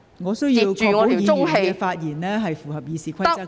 我需要確保議員的發言符合《議事規則》。